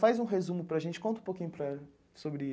Faz um resumo para a gente, conta um pouquinho para sobre